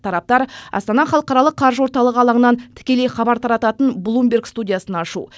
тараптар астана халықаралық қаржы орталығы алаңынан тікелей хабар тарататын блумберг студиясын ашу